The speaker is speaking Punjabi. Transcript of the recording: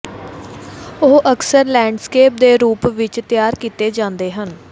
ਉਹ ਅਕਸਰ ਲੈਂਡਸਕੇਪ ਦੇ ਰੂਪ ਵਿਚ ਤਿਆਰ ਕੀਤੇ ਜਾਂਦੇ ਹਨ